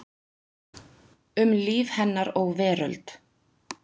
Um líf hennar og veröld.